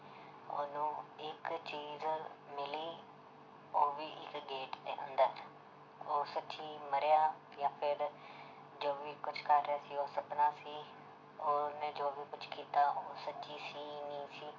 ਉਹਨੂੰ ਇੱਕ ਚੀਜ਼ ਮਿਲੀ ਉਹ ਵੀ ਇੱਕ gate ਦੇ ਅੰਦਰ ਉਹ ਸੱਚੀ ਮਰਿਆ ਜਾਂ ਫਿਰ ਜੋ ਵੀ ਕੁਛ ਕਰ ਰਿਹਾ ਸੀ ਉਹ ਸਪਨਾ ਸੀ ਉਹਨੇ ਜੋ ਵੀ ਕੁਛ ਕੀਤਾ ਉਹ ਸੱਚੀ ਸੀ ਨਹੀਂ ਸੀ